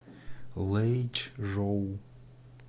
лэйчжоу